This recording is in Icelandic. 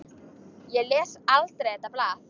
Ég les aldrei þetta blað.